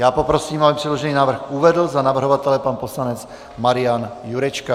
Já poprosím, aby předložený návrh uvedl za navrhovatele pan poslanec Marian Jurečka.